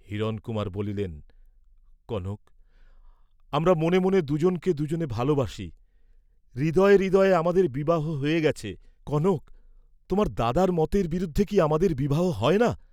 হিরণকুমার বলিলেন কনক, আমরা মনে মনে দু’জনকে দু’জনে ভালবাসি, হৃদয়ে হৃদয়ে আমাদের বিবাহ হ'য়ে গেছে, কনক, তোমার দাদার মতের বিরুদ্ধে কি আমাদের বিবাহ হয় না?